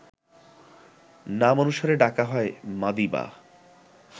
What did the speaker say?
নাম অনুসারে ডাকা হয় মাদিবা